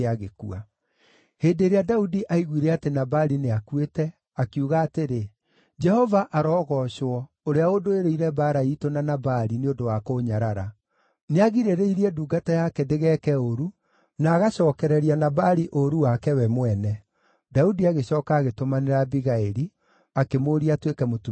Hĩndĩ ĩrĩa Daudi aaiguire atĩ Nabali nĩakuĩte, akiuga atĩrĩ, “Jehova arogoocwo, ũrĩa ũndũĩrĩire mbaara iitũ na Nabali nĩ ũndũ wa kũũnyarara. Nĩagirĩrĩirie ndungata yake ndĩgeeke ũũru, na agacookereria Nabali ũũru wake we mwene.” Daudi agĩcooka agĩtũmanĩra Abigaili, akĩmũũria atuĩke mũtumia wake.